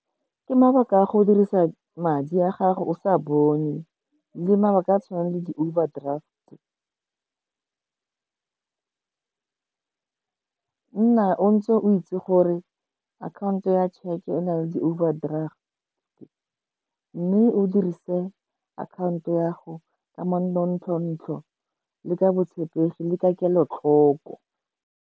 Ke mabaka a go dirisa madi a gago o sa bone le mabaka a a tshwanang le di-overdraft, nna o ntse o itse gore akhaonto ya tšheke e na le di-overdraft mme o dirise akhaonto ya go ka le ka botshepegi le ka kelotlhoko.